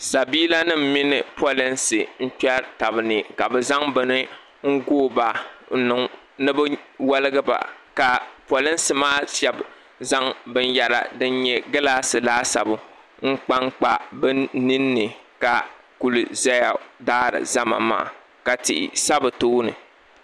sabiila nima mini polinsi n-kpɛri taba ni ka bɛ zaŋ bini n-gooi ba ni bɛ wɔligi ba ka polinsi maa shɛba zaŋ binyɛra din nyɛ gilaasi laasabu n-kpa kpa bɛ nini la kuli zaya daari zama maa ka tihi sa bɛ tooni.